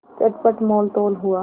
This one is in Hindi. चटपट मोलतोल हुआ